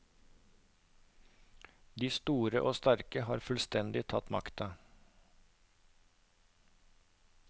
De er store og sterke og har fullstendig tatt makta.